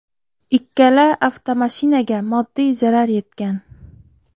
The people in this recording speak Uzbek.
Ikkala avtomashinaga moddiy zarar yetgan.